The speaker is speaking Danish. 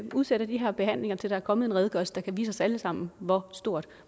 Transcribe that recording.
udsætter de her behandlinger til der er kommet en redegørelse der kan vise os alle sammen hvor stort